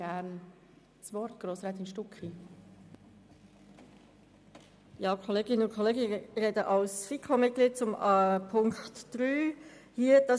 Ich spreche als FiKo-Mitglied zur Planungserklärung 3 zum Themenblock 7.a.